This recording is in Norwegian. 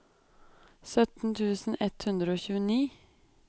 sytten tusen ett hundre og tjueni